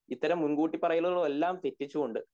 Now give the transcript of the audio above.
ഇത്തരം മുൻകൂട്ടി പറയലുകൾ എല്ലാം തെറ്റിച്ചുകൊണ്ട്